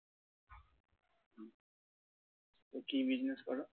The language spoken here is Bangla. কি business করো?